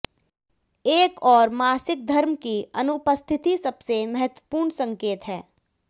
एक और मासिक धर्म की अनुपस्थिति सबसे महत्वपूर्ण संकेत है